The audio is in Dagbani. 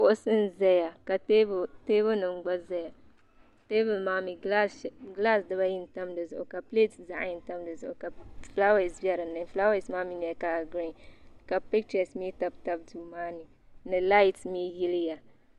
kuɣusi nyɛ ʒɛya ka teebuli nim gba ʒɛya teebuli maa mii gilaas dibayi n tam dizuɣu ka pilɛt zaɣ yini tam dizuɣu ka fulaawɛs bɛ dinni fulaawɛs maa mii nyɛla kala giriin ka pichɛs mii tabi tabi duu maa ni ni lait mii yiliya